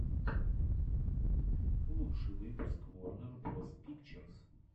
лучший выпуск ворнер броз пикчерз